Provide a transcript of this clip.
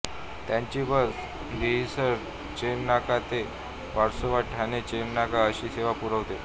त्यांची बस दहिसर चेकनाका ते वर्सोवा ठाणे चेकनाका अशी सेवा पुरवते